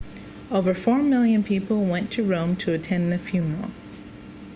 over four million people went to rome to attend the funeral